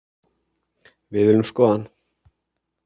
Við viljum skoða hann